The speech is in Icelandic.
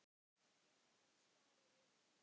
Birtan skar í augun.